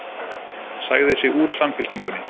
Sagði sig úr Samfylkingunni